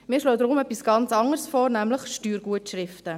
Wir schlagen deshalb etwas ganz anderes vor, nämlich Steuergutschriften.